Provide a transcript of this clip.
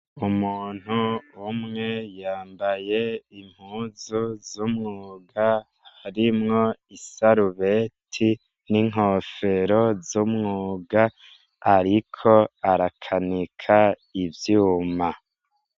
Umuntu umwe yambaye impuzu z'umwuga, harimwo isarubeti n'inkofero z'umwuga, ariko arakanika ivyuma.